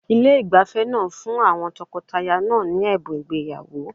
Ilé ìgbafẹ́ náà fún àwọn tọkọtaya ní ẹ̀bùn ìgbéyàwó.